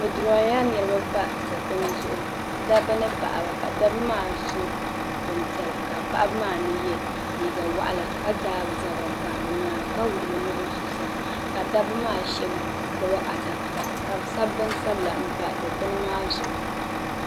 Bɛ dirɔɔyila niriba pa dikpuni zuɣu dabba ni paɣaba ka dabba maa so bin piɛla ka paɣaba maa mi yɛ liiga wɔɣila ka daa bɛ zabiri pa bɛ nyaanga ka wuɣu bɛ nuhi zuɣusaa ka dabba maa shɛbi gbubi adaka ka bɛ sabi bin sabila pa dikpuni maa zuɣu.